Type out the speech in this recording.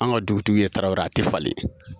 Anw ka dugutigiw ye tarawelew ye a te falen .